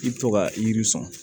I bɛ to ka yiri sɔn